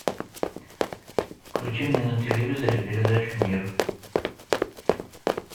включи мне на телевизоре передачу мир